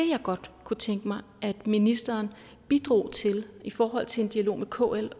jeg godt kunne tænke mig ministeren bidrog til i forhold til en dialog med kl